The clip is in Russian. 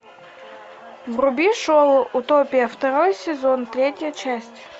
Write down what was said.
вруби шоу утопия второй сезон третья часть